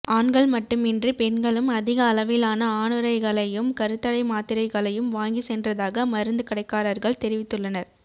ஆண்கள் மட்டுமின்றி பெண்களும் அதிக அளவிலான ஆணுறைகளையும் கருத்தடை மாத்திரைகளையும் வாங்கி சென்றதாக மருந்து கடைக்காரர்கள் தெரிவித்துள்ளனர்